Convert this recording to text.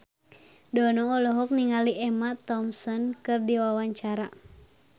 Dono olohok ningali Emma Thompson keur diwawancara